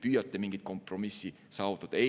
Püüate mingit kompromissi saavutada?